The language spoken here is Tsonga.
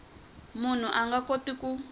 munhu a nga koti ku